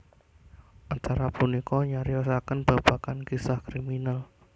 Acara punika nyariosakèn babagan kisah kriminal